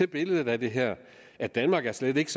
i billedet af det her at danmark slet ikke